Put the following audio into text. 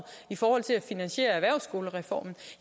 i forhold til at finansiere erhvervsskolereformen